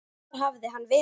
Hvar hafði hann verið?